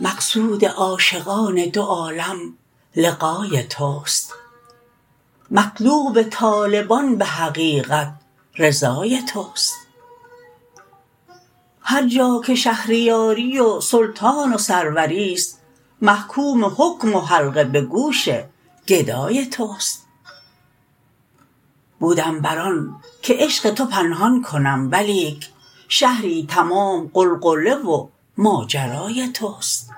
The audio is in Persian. مقصود عاشقان دو عالم لقای توست مطلوب طالبان به حقیقت رضای توست هر جا که شهریاری و سلطان و سروریست محکوم حکم و حلقه به گوش گدای توست بودم بر آن که عشق تو پنهان کنم ولیک شهری تمام غلغله و ماجرای توست